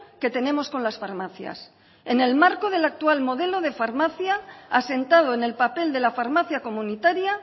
que tenemos con las farmacias en el marco del actual modelo de farmacia asentado en el papel de la farmacia comunitaria